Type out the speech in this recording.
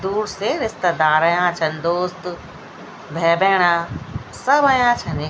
दूर से रिश्तदार अयां छं दोस्त भै बैणा सब अयां छने।